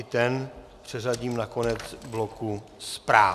I ten přeřadím na konec bloku zpráv.